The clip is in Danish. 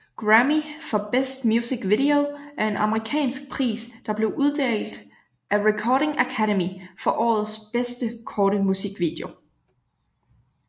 Grammy for Best Music Video er en amerikansk pris der blev uddelt af Recording Academy for årets bedste korte musikvideo